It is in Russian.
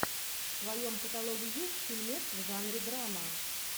в твоем каталоге есть фильмец в жанре драма